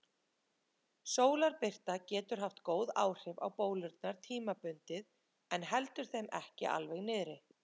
Sólarbirta getur haft góð áhrif á bólurnar tímabundið en heldur þeim ekki alveg niðri.